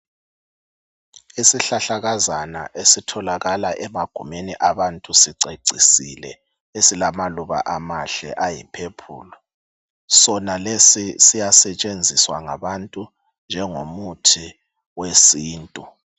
Izihlahlakazana esitholakakala emagumeni abantu sicecisile esilamaluba ayiphephuli ,Sona lesi siyasetshenziswa ngabantu njengomuthi wesintu.